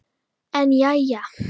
En jæja.